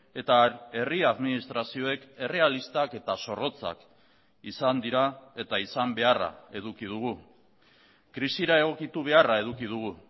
eta herri administrazioek errealistak eta zorrotzak izan dira eta izan beharra eduki dugu krisira egokitu beharra eduki dugu